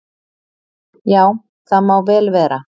"""Já, það má vel vera."""